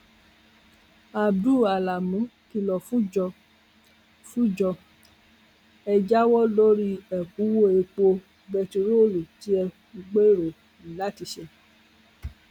abduls alamí kìlọ fúnjọ fúnjọ ẹ jáwọ lórí ẹkúnwọ epo bẹntiróòlù tí ẹ ń gbèrò látiṣé